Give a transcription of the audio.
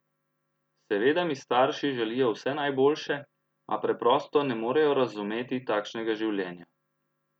Seveda mi starši želijo vse najboljše, a preprosto ne morejo razumeti takšnega življenja.